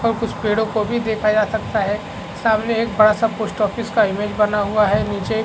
और कुछ पेड़ो को भी देखा जा सकता है सामने एक बड़ा सा पोस्ट ऑफिस का इमेज बना हुआ है नीचे--